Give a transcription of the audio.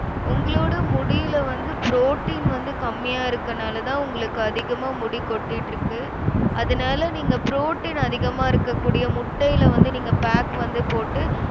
உங்களோட முடில வந்து protein வந்து கம்மியா இருக்கனாலதான் உங்களுக்கு அதிகமா முடி கொட்டிட்டிருக்கு. அதனால நீங்க protein அதிகமா இருக்கக்கூடிய முட்டைல வந்து நீங்க pack வந்து போட்டு